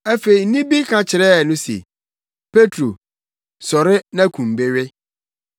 Afei nne bi ka kyerɛɛ no se, “Petro, sɔre na kum bi we!”